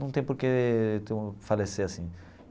não tem por que então falecer assim.